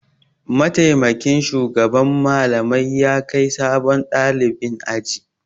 Mataimakin shugaban Mallamai ya kai sabon ɗalibin aji.